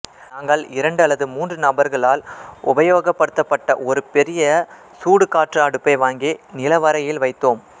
நாங்கள் இரண்டு அல்லது மூன்று நபர்களால் உபயோகப்படுத்தப்பட்ட ஒரு பெரிய சூடுகாற்று அடுப்பை வாங்கி நிலவறையில் வைத்தோம்